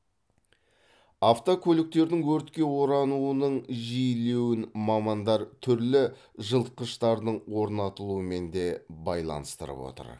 автокөліктердің өртке орануының жиілеуін мамандар түрлі жылытқыштардың орнатылуымен де байланыстырып отыр